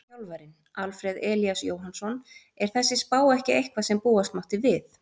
Þjálfarinn: Alfreð Elías Jóhannsson Er þessi spá ekki eitthvað sem búast mátti við?